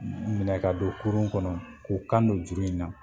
unhunw minɛ ka don kurun kɔnɔ k'u kan do juru in na.